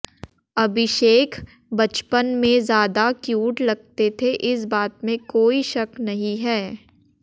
अभिषेक बचपन में ज्यादा क्यूट लगते थे इस बात में कोई शक नहीं है